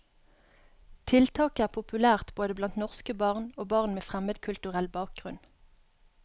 Tiltaket er populært både blant norske barn og barn med fremmedkulturell bakgrunn.